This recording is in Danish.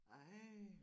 Ej